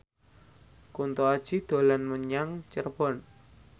Kunto Aji dolan menyang Cirebon